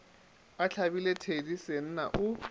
a hlabile thedi senna o